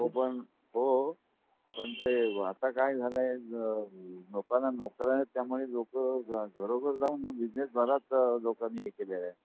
हो पण ते आता काय झाल आहे. लोकांना नोकऱ्या नाही त्या मुळे लोक घरोघर जाऊन मग बीजनेस बऱ्याच लोकांनी हे केलेल आहे.